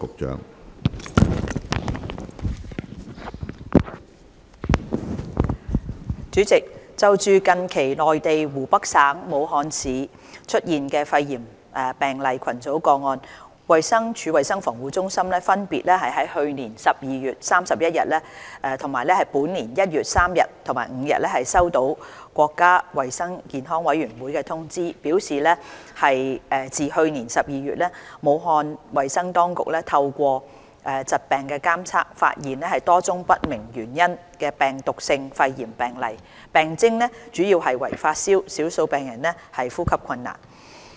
主席，就近期內地湖北省武漢市出現肺炎病例群組個案，衞生署衞生防護中心分別於去年12月31日、本年1月3日及5日收到國家衞生健康委員會通知，表示自去年12月，武漢衞生當局透過疾病監測發現多宗不明原因的病毒性肺炎病例，病徵主要為發燒，少數病人呼吸困難。